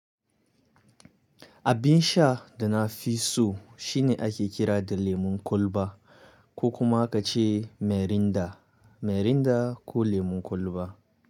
Abin sha da na fi so shine ake kira da lemon kwalba ko kuma ka ce Mirinda, Mirinda ko lemon kwalba.